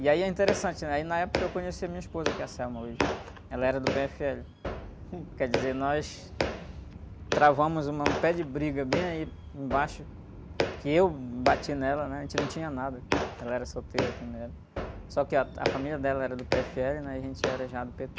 E aí é interessante, né? Aí, na época, eu conheci a minha esposa, que é a hoje, ela era do pê-éfe-éle, quer dizer, nós travamos uma, um pé de briga bem aí embaixo, que eu bati nela, né? A gente não tinha nada, ela era solteira também, né? Só que a, a família dela era do pê-éfe-éle, né? E a gente era já do pê-tê.